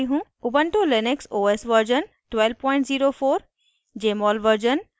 * ubuntu Linux os version 1204